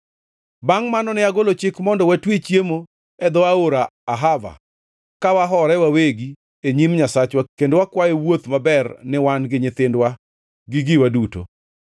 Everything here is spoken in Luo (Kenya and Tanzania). Bangʼ mano, ne agolo chik mondo watwe chiemo e dho aora Ahava ka wahore wawegi e nyim Nyasachwa kendo wakwaye wuoth maber ni wan gi nyithindwa, gi giwa duto.